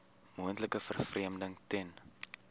moontlike vervreemding ten